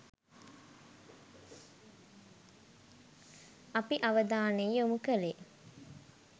අපි අවධානය යොමු කළේ